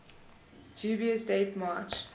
dubious date march